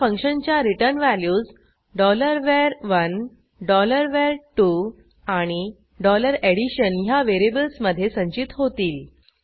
ह्या फंक्शनच्या return values var1 var2 आणि addition ह्या व्हेरिएबल्समधे संचित होतील